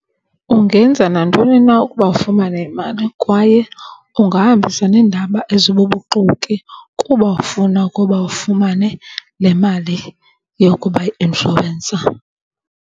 Ungenza nantoni na ukuba ufumane imali kwaye ungahambisa nendaba ezibubuxoki kuba ufuna ukuba ufumane le mali yokuba yi-inshorensa.